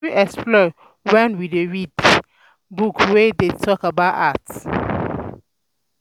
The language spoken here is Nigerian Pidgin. We fit explore um when we read um book wey dey um talk about art